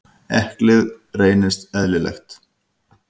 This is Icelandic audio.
Eðlið reynist eðlilegt.